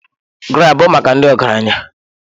GRA bụ maka ndị ọgaranya.